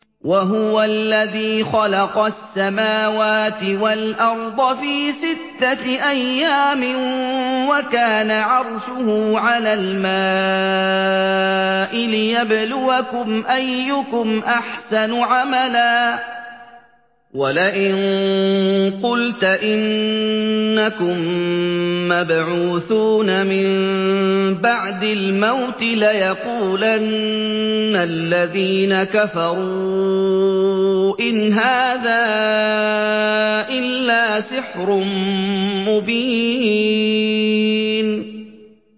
وَهُوَ الَّذِي خَلَقَ السَّمَاوَاتِ وَالْأَرْضَ فِي سِتَّةِ أَيَّامٍ وَكَانَ عَرْشُهُ عَلَى الْمَاءِ لِيَبْلُوَكُمْ أَيُّكُمْ أَحْسَنُ عَمَلًا ۗ وَلَئِن قُلْتَ إِنَّكُم مَّبْعُوثُونَ مِن بَعْدِ الْمَوْتِ لَيَقُولَنَّ الَّذِينَ كَفَرُوا إِنْ هَٰذَا إِلَّا سِحْرٌ مُّبِينٌ